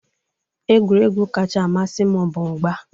Egwuregwu kacha amasị m bụ mgba.